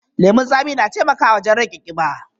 Lemun tsami na taimakawa wajen rage kiba.